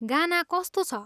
गाना कस्तो छ?